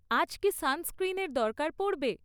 আজ কী সানস্ক্রীনের দরকার পড়বে?